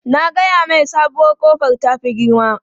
Na gaya mai sabuwar kofar ta fi girma.